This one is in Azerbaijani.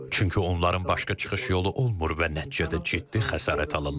Çünki onların başqa çıxış yolu olmur və nəticədə ciddi xəsarət alırlar.